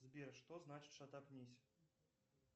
сбер что значит шатапнись